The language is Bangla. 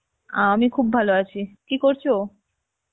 আমি খুব ভালো আছি, কী করছো?